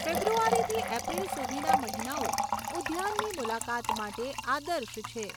ફેબ્રુઆરીથી એપ્રિલ સુધીના મહિનાઓ ઉદ્યાનની મુલાકાત માટે આદર્શ છે.